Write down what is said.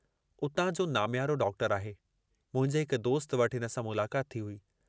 उतां जो नामियारो डॉक्टर आहे, मुंहिंजे हिक दोस्त वटि हिन सां मुलाकात थी हुई।